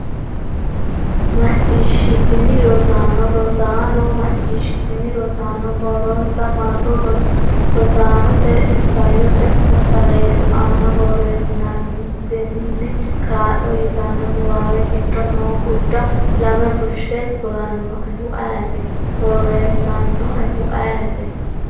Macciishshitini rosaano? Rosaano macciishshitini? Rosaano borronsa marro Rosaanote, Isayyote umo saleedu aana borreessinsaassinanni Kaa’lo” yitanno niwaawe giddo noo gurda lame fushshe kulannoehu ayeeti? borreessannoehu ayeeti?